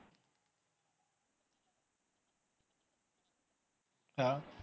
आ